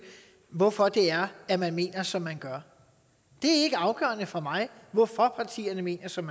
hvorfor det er at man mener som man gør det er ikke afgørende for mig hvorfor partierne mener som